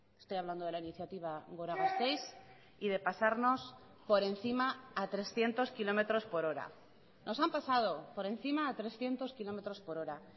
estoy hablando de la iniciativa gora gasteiz y de pasarnos por encima a trescientos kilómetros por hora nos han pasado por encima a trescientos kilómetros por hora